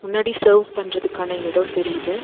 முன்னாடி செர்வ் பண்றதுக்கான எடோ தெரியுது.